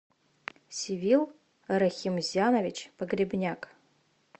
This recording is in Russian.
севил рахимзянович погребняк